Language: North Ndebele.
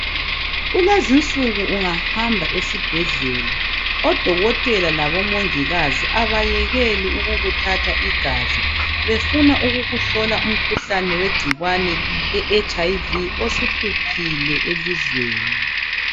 Kulezinsuku ungahamba esibhedlela odokotela labomongikazi abayekeli ukukuthatha igazi befuna ukukuhlola umkhuhlane wegcikwane leHIV osuhluphile elizweni.